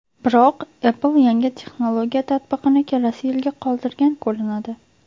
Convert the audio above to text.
Biroq Apple yangi texnologiya tatbiqini kelasi yilga qoldirgan ko‘rinadi.